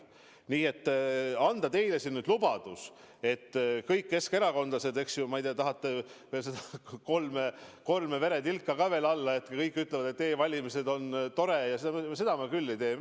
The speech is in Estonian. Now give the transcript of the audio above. Nii et anda teile siin lubadus, et kõik keskerakondlased – te ehk tahate kolme veretilka ka veel kinnituseks –, et kõik ütlevad, et e-valimised on tore – seda ma küll ei tee.